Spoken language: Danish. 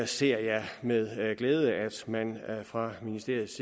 ser jeg med glæde at man fra ministeriets